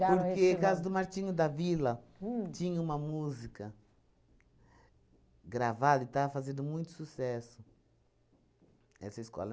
Porque causa do Martinho da Vila tinha uma música gravada e estava fazendo muito sucesso, essa escola.